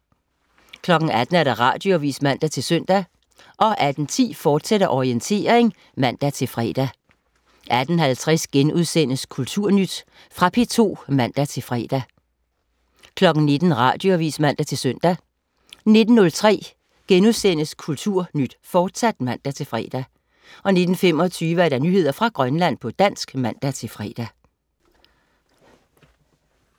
18.00 Radioavis (man-søn) 18.10 Orientering, fortsat (man-fre) 18.50 Kulturnyt.* Fra P2 (man-fre) 19.00 Radioavis (man-søn) 19.03 Kulturnyt, fortsat* (man-fre) 19.25 Nyheder fra Grønland, på dansk (man-fre)